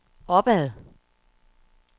opad